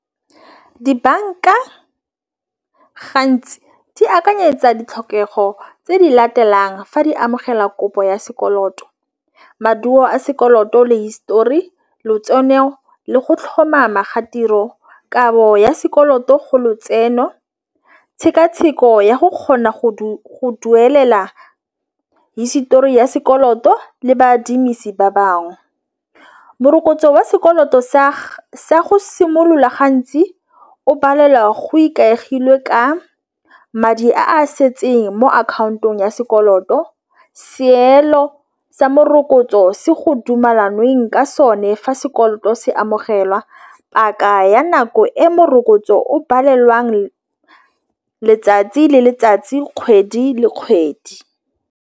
Dibanka gantsi di akanyetsa ditlhokego tse di latelang fa di amogela kopo ya sekoloto maduo a sekoloto le histori lotseno le go tlhomama ga tiro kabo ya sekoloto go lotseno tshekatsheko ya go kgona go duelela hisetori ya sekoloto le baadimisani ba bangwe. Morokotso wa sekoloto sa sa go simolola gantsi o palelwa go ikaegile ka madi a setseng mo akhaontong ya sekoloto. Seelo sa morokotso se go dumelanweng ka sone fa sekoloto se amogelwa paka ya nako e morokotso o palelwang letsatsi le letsatsi kgwedi le kgwedi.